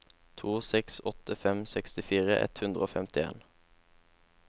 to seks åtte fem sekstifire ett hundre og femtien